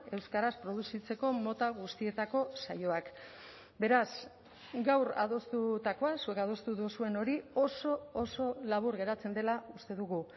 euskaraz produzitzeko mota guztietako saioak beraz gaur adostutakoa zuek adostu duzuen hori oso oso labur geratzen dela uste dugu